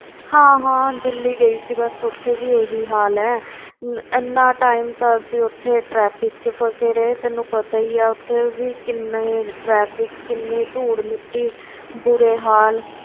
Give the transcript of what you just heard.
ਹਾਂ ਹਾਂ ਦਿੱਲੀ ਗਈ ਸੀ ਬਸ ਉੱਥੇ ਵੀ ਇਹੀ ਹਾਲ ਹੈ ਇੰਨਾ time ਤਾਂ ਅਸੀਂ ਉੱਥੇ traffic ਵਿੱਚ ਫ਼ਸੇ ਰਹੇ, ਤੈਨੂੰ ਪਤਾ ਹੀ ਹੈ ਉੱਥੇ ਵੀ ਕਿੰਨੇ traffic ਕਿੰਨੀ ਧੂੜ ਮਿੱਟੀ ਬੁਰੇ ਹਾਲ